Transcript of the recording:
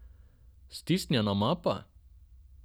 Stisnjena mapa?